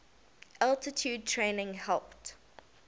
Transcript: altitude training helped